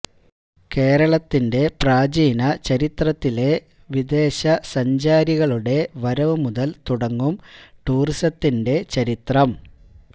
കേരളത്തിന്റെ പ്രാചീന ചരിത്രത്തിലെ വിദേശ സഞ്ചാരികളുടെ വരവുമുതല് തുടങ്ങും ടൂറിസത്തിന്റെ ചരിത്രം